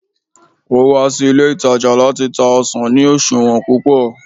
o wa sí ilé itaja lati ta ọsàn ni oṣuwọn púpò